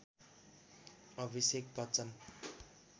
Abhishek Bachchan